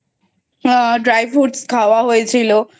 আ Dry fruitsখাওয়া হয়েছিল।